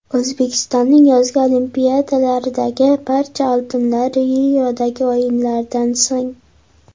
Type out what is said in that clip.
O‘zbekistonning yozgi Olimpiadalardagi barcha oltinlari Riodagi o‘yinlardan so‘ng.